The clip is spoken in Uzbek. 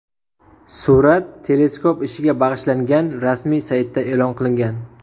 Surat teleskop ishiga bag‘ishlangan rasmiy saytda e’lon qilingan .